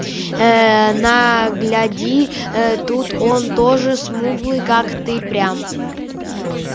ээ на гляди э тут он тоже смуглый как ты прям